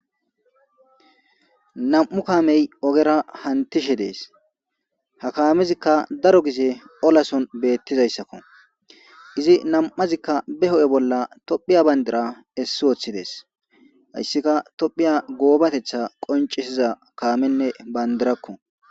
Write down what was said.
Nam'u kamey ogera hantishe des ha kamezikka daro gize ollason betizaysakko iza nam'azikka be hu'e bolla tophiya pandira esi Wothides hasikka tophiya gobatetha qoncisza Kamenne pandirakko